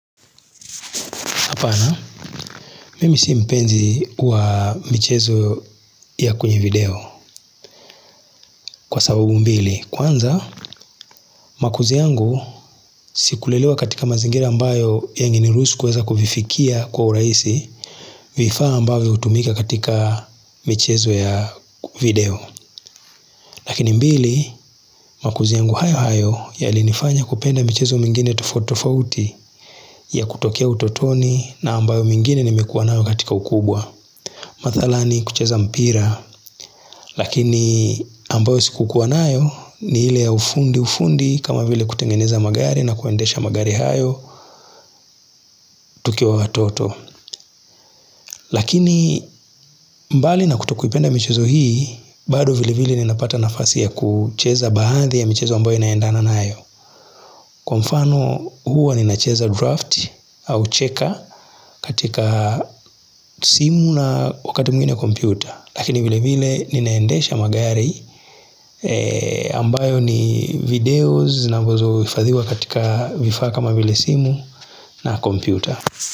Apana, mimi si mpenzi wa michezo ya kwenye video kwa sababu mbili. Kwanza, makuzi yangu sikulelewa katika mazingira ambayo yangeniruhsu kuweza kuvifikia kwa urahisi vifaa ambavyo hutumika katika michezo ya video. Lakini mbili, makuzi yangu hayo hayo yalinifanya kupenda michezo mengine tofauti tofauti ya kutokea utotoni na ambayo mengine nimekuwa nayo katika ukubwa. Madhala ni kucheza mpira, lakini ambayo sikukuwa nayo ni ile ya ufundi ufundi kama vile kutengeneza magari na kuendesha magari hayo tukiwa watoto. Lakini mbali na kutokuipenda michezo hii, bado vile vile ninapata nafasi ya kucheza baadhi ya michezo ambayo inaendana nayo. Kwa mfano huwa ninacheza draft au checker katika simu na wakati mwingine kompyuta Lakini vile vile ninaendesha magari ambayo ni video zinazo hifadhiwa katika vifaa kama vile simu na kompyuta.